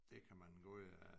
Det kan man god